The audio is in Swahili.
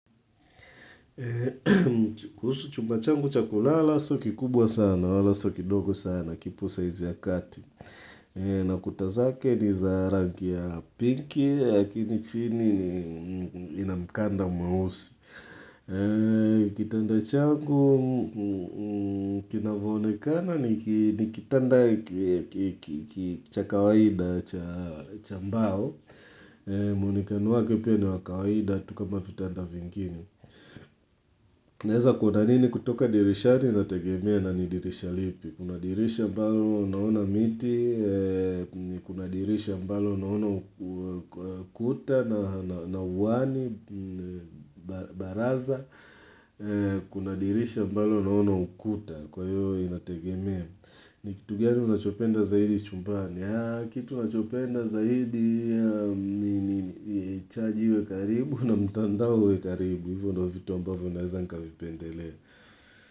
Kuhusu chumba changu cha kulala sio kikubwa sana, wala sio kidogo sana, kipusa iziakati na kuta zake ni za rangi ya pinki, lakini chini ina mkanda mweusi Kitanda changu, kinavyoonekana ni kitanda cha kawaida cha mbao mwonekano wake pia ni wa kawaida, tu kama vitanda vingine Naeza kuona nini kutoka dirishani inategemea na ni dirisha lipi Kuna dirisha ambalo naona miti Kuna dirisha ambalo naona ukuta na uani baraza Kuna dirisha ambalo naona ukuta Kwa hiyo inategemea ni kitu gani unachopenda zaidi chumbani Kitu unachopenda zaidi ni chaji iwe karibu na mtandao uwe karibu hivyo ndo vitu ambavyo naeza nikavipendelea.